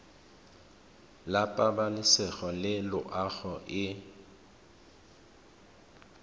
la pabalesego le loago e